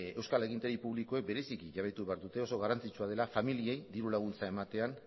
euskal agintari publikoek bereiziki jabetu behar dute oso garrantzitsua dela familiei diru laguntza ematean